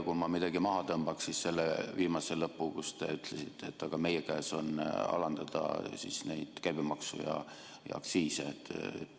Kui ma midagi maha tõmbaksin, siis selle lõpu, kui te ütlesite, et meie kätes on alandada käibemaksu ja aktsiise.